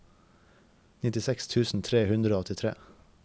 nittiseks tusen tre hundre og åttitre